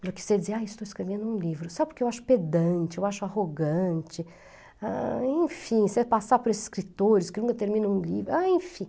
do que você dizer, ah, estou escrevendo um livro, só porque eu acho pedante, eu acho arrogante, ah, enfim, você passar por escritores que nunca terminam um livro, ah, enfim.